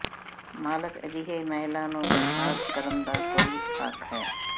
ਮਾਲਕ ਅਜਿਹੇ ਮਹਿਲਾ ਨੂੰ ਬਰਖਾਸਤ ਕਰਨ ਦਾ ਕੋਈ ਹੱਕ ਹੈ